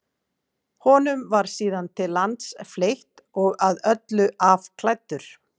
honum var síðan til lands fleytt og að öllu afklæddur